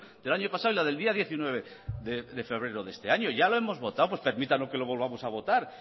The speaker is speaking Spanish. del año pasado y la del día diecinueve de febrero de este año ya lo hemos votado pues permítanos que lo volvamos a votar